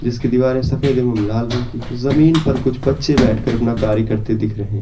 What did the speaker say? जिसकी दीवारें सफेद एवं लाल रंग की जमीन पर कुछ बच्चे बैठ कर अपना कार्य करते दिख रहे।